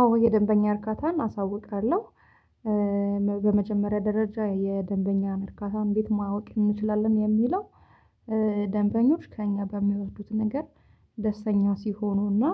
አዎ የደንበኛ እርካታን አሳውቃለሁ። በመጀመሪያ ደረጃ የደንበኛን እርካታ እንዴት ማወቅ እንችላለን የሚለው? ደንበኞች ከእኛ በሚወስዱት ነገር ደስተኛ ሲሆኑና